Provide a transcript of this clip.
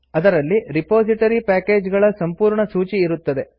ಅದರಲ್ಲಿ repository package ಗಳ ಸಂಪೂರ್ಣ ಸೂಚಿ ಇರುತ್ತದೆ